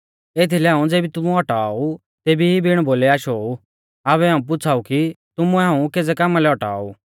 एथीलै हाऊं ज़ेबी तुमुऐ औटाऔ ऊ तेबी ई बिण बोलै आशो ऊ आबै हाऊं पुछ़ाऊ कि तुमुऐ हाऊं केज़ै कामा लै औटाऔ ऊ